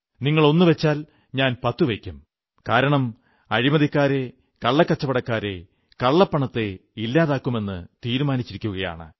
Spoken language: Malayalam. നിങ്ങൾ ഒന്നുവച്ചാൽ ഞാൻ പത്തുവയ്ക്കും കാരണം അഴിമതിക്കാരെ കള്ളക്കച്ചവടക്കാരെ കള്ളപ്പണത്തെ ഇല്ലാതെയാക്കുമെന്ന് തീരുമാനിച്ചിരിക്കയാണ്